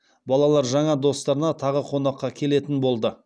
балалар жаңа достарына тағы қонаққа келетін болды